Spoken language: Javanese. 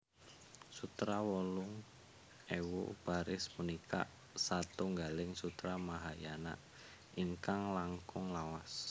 Sutra wolung ewu baris punika satunggaling sutra Mahayana ingkang langkung lawas